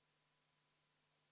Palun võtta seisukoht ja hääletada!